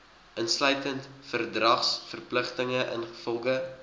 insluitend verdragsverpligtinge ingevolge